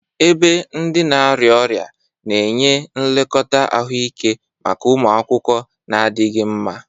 Ebe ndị na-arịa ọrịa na-enye nlekọta ahụike maka ụmụ akwụkwọ na-adịghị mma.